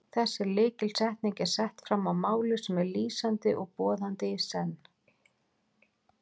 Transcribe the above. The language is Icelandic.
Þessi lykilsetning er sett fram á máli sem er lýsandi og boðandi í senn.